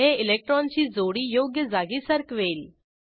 हे इलेक्ट्रॉनची जोडी योग्य जागी सरकवेल